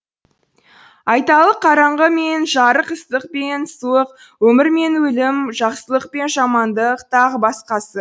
айталық қараңғы мен жарық ыстық пен суық өмір мен өлім жақсылық пен жамандық тағы басқасы